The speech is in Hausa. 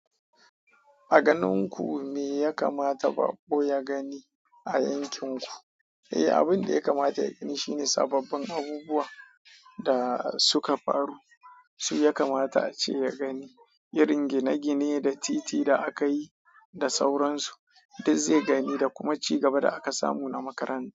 A ganin ku me ya kamata bako ya gani a yankin ku? Eh, abin da ya kamata ya gani shine sababbin abubuwa da suka faru. Shi ya kamata ace ya gani. Irin gine-gine da titi da aka yi da sauransu. Duk zai gani da kuma ci gaba da aka samu na makaranta.